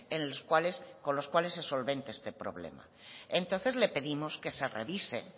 en los cuales con los cuales se solvente este problema entonces le pedimos que se revise